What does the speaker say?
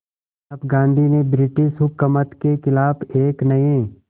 अब गांधी ने ब्रिटिश हुकूमत के ख़िलाफ़ एक नये